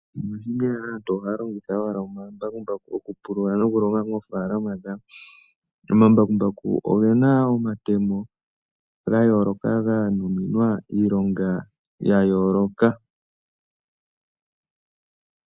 Mongaashingeyi aantu ohaya longitha owala omambakumbaku okupulula nokulonga moofaalama dhawo. Omambakumbaku ogena omatemo ga yooloka ga nuninwa iilonga ya yooloka.